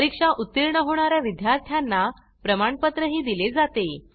परीक्षेत उत्तीर्ण होणाऱ्या विद्यार्थ्यांना प्रमाणपत्र दिले जाते